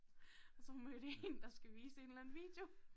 Og så hun mødt en der skal vise en eller anden video